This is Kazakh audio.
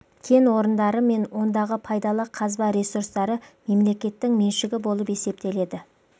кен орындары мен ондағы пайдалы қазба ресурстары мемлекеттің меншігі болып есептеледі